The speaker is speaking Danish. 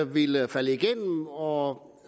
ville falde igennem og